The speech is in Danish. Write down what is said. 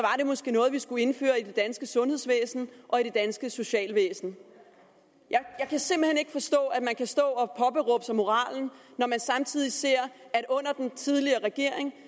det måske noget vi skulle indføre i det danske sundhedsvæsen og i det danske socialvæsen jeg kan simpelt hen ikke forstå at man kan stå og påberåbe sig moralen når man samtidig ser at under den tidligere regering